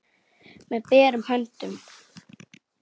Með berum höndum.